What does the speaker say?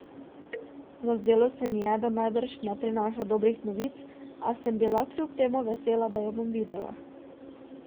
Zazdelo se mi je, da najbrž ne prinaša dobrih novic, a sem bila kljub temu vesela, da jo bom videla.